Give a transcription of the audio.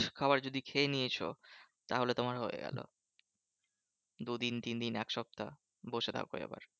খাবার যদি খেয়ে নিয়েছো তাহলে তোমার হয়ে গেলো। দু দিন তিন দিন এক সপ্তাহ বসে থাকো এবার।